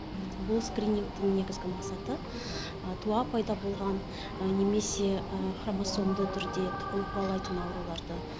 бұл скринингтің негізгі мақсаты туа пайда болған немесе хромосомды түрде тұқым қуалайтын ауруларды